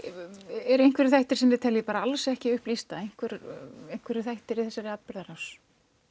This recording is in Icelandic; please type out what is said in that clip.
eru einhverjir þættir sem þið teljið bara alls ekki upplýsta einhverjir einhverjir þættir í þessari atburðarás